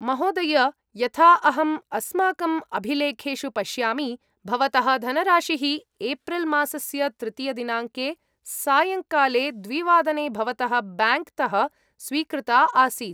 महोदय, यथा अहम् अस्माकम् अभिलेखेषु पश्यामि, भवतः धनराशिः एप्रिल् मासस्य तृतीयदिनाङ्के सायङ्काले द्विवादने भवतः ब्याङ्क्तः स्वीकृता आसीत्।